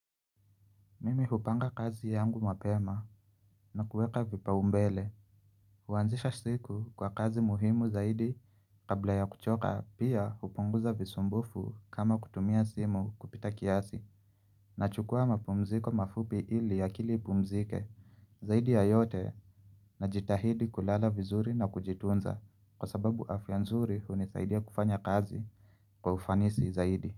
Mimi hupanga kazi yangu mapema na kueka kipaumbele Huanzisha siku kwa kazi muhimu zaidi kabla ya kuchoka pia hupunguza visumbufu kama kutumia simu kupita kiasi Nachukua mapumziko mafupi ili akili ipumzike zaidi ya yote na jitahidi kulala vizuri na kujitunza kwa sababu afia nzuri hunisaidia kufanya kazi kwa ufanisi zaidi.